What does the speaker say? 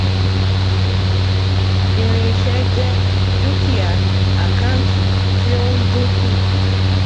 irinṣẹ jẹ dúkìá àkántì tí ó ń dínkù